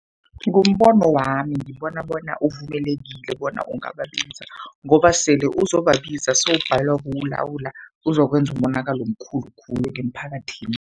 Ngombono wami ngibona bona uvumelekile bona ungababiza, ngoba sele uzobabiza sewubhalelwa kuwulawula, uzokwenza umonakalo omkhulu khulu emphakathini.